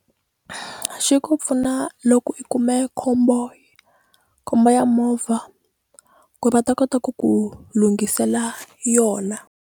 Xi ku pfuna loko i kume khombo khombo ya movha ku ri va ta kota ku ku lunghisela yona.